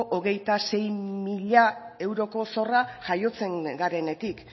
hogeita sei mila euroko zorra jaiotzen garenetik